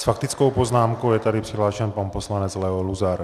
S faktickou poznámkou je tady přihlášen pan poslanec Leo Luzar.